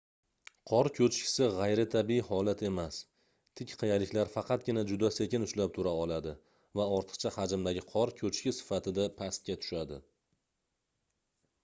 qor koʻchkisi gʻayritabiiy holat emas tik qiyaliklar faqatgina juda sekin ushlab tura oladi va ortiqcha hajmdagi qor koʻchki sifatida pastga tushadi